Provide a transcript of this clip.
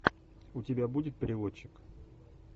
у тебя будет переводчик